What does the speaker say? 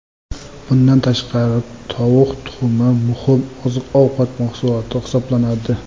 Bundan tashqari, tovuq tuxumi muhim oziq-ovqat mahsuloti hisoblanadi.